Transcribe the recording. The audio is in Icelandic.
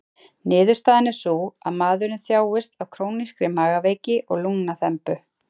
Niðurstaðan er sú, að maðurinn þjáist af krónískri magaveiki og lungnaþembu.